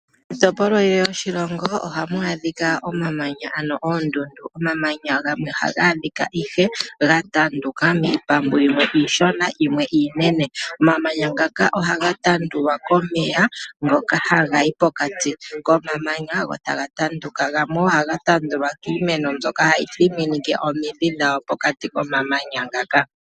Miitopolwa yilwe yoshilongo ohamu adhika omamanya, ano oondundu. Omamanya gamwe ohaga adhika ihe gatanduka miipambu yimwe iishona nayimwe iinene, omamanya ngaka ohaga tandulwa komeya konga ha gayi pokati komamanya go taga tanduka, nogamwe ohaga tanduka kiimeno mbyoka hayi thiminike omidhi dhawo pokati komamanya ngaka.